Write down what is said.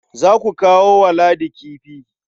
Za su kawo wa Ladi kifi.